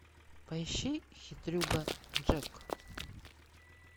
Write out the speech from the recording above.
поищи хитрюга джек